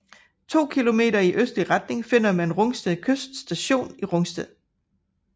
To kilometer i østlig retning finder man Rungsted Kyst Station i Rungsted